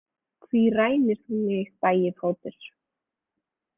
Hví rænir þú mig, Bægifótur?